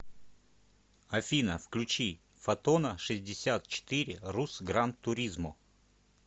афина включи фотона шестьдесят четыре рус гран туризмо